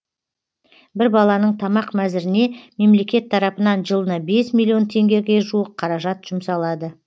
бір баланың тамақ мәзіріне мемлекет тарапынан жылына бес миллион теңгеге жуық қаражат жұмсалады